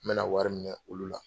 N bɛ na wari minɛ olu la.